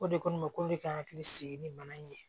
O de ko ma ko ne ka hakili sigi ni mana in ye